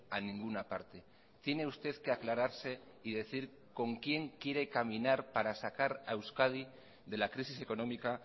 a ninguna parte tiene usted que aclararse y decir con quién quiere caminar para sacar a euskadi de la crisis económica